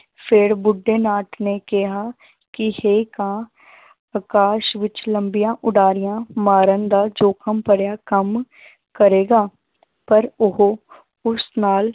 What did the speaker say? ਫਿਰ ਬੁੱਢੇ ਨਾਥ ਨੇ ਕਿਹਾ ਕਿ ਹੇ ਕਾਂ ਆਕਾਸ਼ ਵਿੱਚ ਲੰਬੀਆਂ ਉਡਾਰੀਆਂ ਮਾਰਨ ਦਾ ਜੋਖ਼ਮ ਭਰਿਆ ਕੰਮ ਕਰੇਗਾ ਪਰ ਉਹ ਉਸ ਨਾਲ